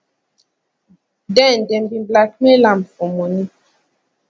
den dem bin blackmail am for money